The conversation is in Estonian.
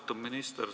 Austatud minister!